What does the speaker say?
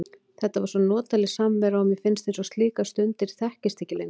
Þetta var svo notaleg samvera og mér finnst eins og slíkar stundir þekkist ekki lengur.